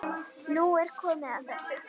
Nú er komið að þessu.